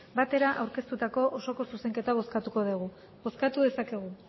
batera aurkeztutako zuzenketa bozkatuko dugu bozkatu dezakegu